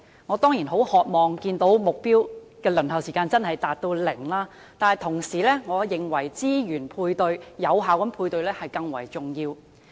我當然很渴望看見服務的輪候時間真的能減至零，但我同時認為，資源的有效配對更為重要。